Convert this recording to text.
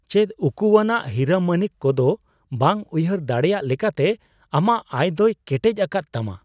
ᱪᱮᱫ ᱩᱠᱩᱣᱟᱱᱟᱜ ᱦᱤᱨᱟᱹᱢᱟᱹᱱᱤᱠ ᱠᱚ ᱫᱚ ᱵᱟᱝ ᱩᱭᱦᱟᱹᱨ ᱫᱟᱲᱮᱭᱟᱜ ᱞᱮᱠᱟᱛᱮ ᱟᱢᱟᱜ ᱟᱭ ᱫᱚᱭ ᱠᱮᱴᱮᱡ ᱟᱠᱟᱫ ᱛᱟᱢᱟ ?